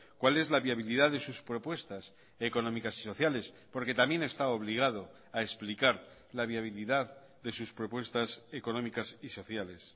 cuál es la viabilidad de sus propuestas económicas y sociales porque también está obligado a explicar la viabilidad de sus propuestas económicas y sociales